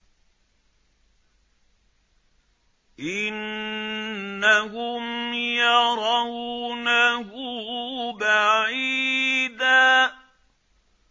إِنَّهُمْ يَرَوْنَهُ بَعِيدًا